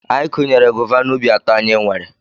Anyị kụnyere gova n'ubi atọ anyị nwere.